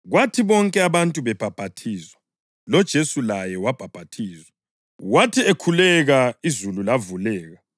Kwathi bonke abantu bebhaphathizwa, loJesu laye wabhaphathizwa. Wathi ekhuleka izulu lavuleka